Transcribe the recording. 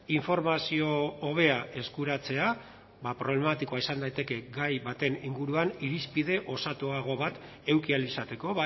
informazio hobea eskuratzea problematikoa izan daiteke gai baten inguruan irizpide osatuago bat eduki ahal izateko